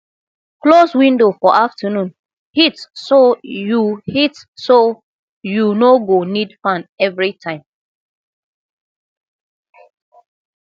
close window for afternoon heat so you heat so you no go need fan every time